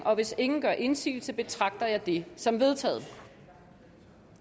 hvis ingen gør indsigelse betragter jeg det som vedtaget